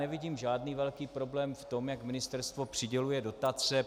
Nevidím žádný velký problém v tom, jak ministerstvo přiděluje dotace.